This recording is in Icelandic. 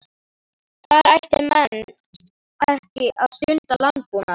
Þar ættu menn ekki að stunda landbúnað.